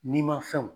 Ni ma fɛnw